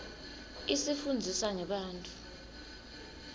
isifunndzisa ngebantfu